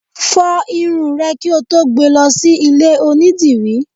Fọ irun rẹ kí o tó gbé e lọ sí ilé onídìrí!